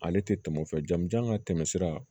Ale tɛ tɛmɛ o fɛ jamujan ka tɛmɛ sira